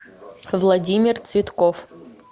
владимир цветков